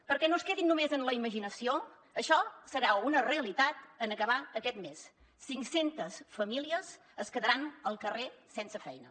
perquè no es quedin només en la imaginació això serà una realitat en acabar aquest mes cinc centes famílies es quedaran al carrer sense feina